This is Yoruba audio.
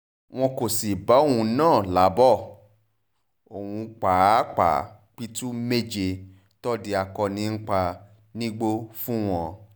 wọn kò sì bá òun náà láàbò òun pàápàá pitú méje tòde akọni ń pa nígbó fún wọn